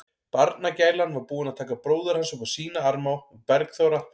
Barnagælan var búin að taka bróður hans upp á sína arma og Bergþóra